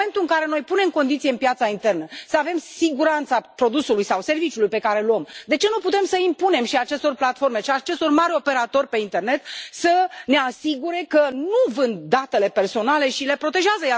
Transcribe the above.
În momentul în care noi punem condiții în piața internă, să avem siguranța produsului sau a serviciului pe care îl achiziționăm, de ce nu putem să impunem și acestor platforme și acestor mari operatori pe internet să ne asigure că nu vând datele personale și le protejează?